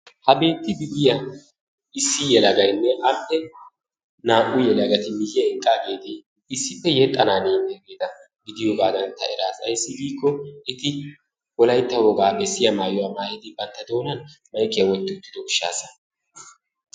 Ha beetidi yiyya issi yeleagaynne naa''u yelagati miyiyyan eqqageeti issippe yexxana diyaageeti gidiyoogaa taani eraas ayssi giiko eti Wolaytta wogaa bessiyaa maayuwaa maayyidi bantta doonan maykkiya wotti uttido gishshassa.